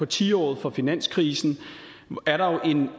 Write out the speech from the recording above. tiåret for finanskrisen